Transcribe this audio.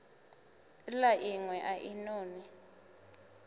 la inwe a i noni